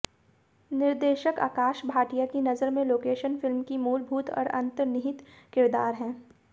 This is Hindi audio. निर्देशक आकाश भाटिया की नजर में लोकेशन फिल्म की मूलभूत और अंतर्निहित किरदार हैं